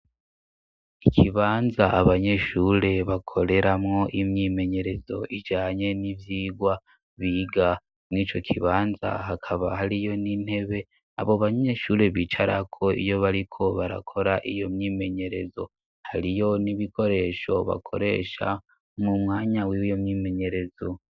Ikibanza abanyeshure bakoreramwo imyimenyerezo ijanye n'ivyigwa biga ,mur'ico kibanza hakaba hariyo n'intebe abo banyeshure bicarako iyo bariko barakora iyo myimenyerezo ,hariyo n'ibikoresho bakoresha mu mwanya w'iyo myimenyerezo.